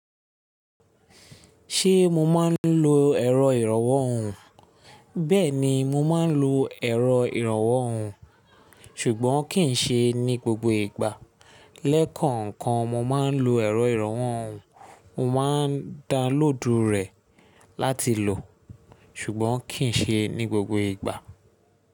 Ṣé mo máa ń lo ẹ̀rọ ìrànwọ́ ohùn? Bẹ́ẹ̀ ni, mo máa ń lo ẹ̀rọ ìrànwọ́ ohùn, ṣùgbọ́n kì í ṣe ní gbogbo ìgbà. Lẹ́kànkan mo máa ń lo ẹ̀rọ ìrànwọ́ ohùn, mo máa ń da lóòdù rẹ̀ láti lò, ṣùgbọ́n kì í ṣe ní gbogbo ìgbà.